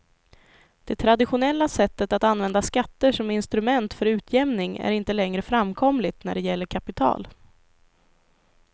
Det traditionella sättet att använda skatter som instrument för utjämning är inte längre framkomligt när det gäller kapital.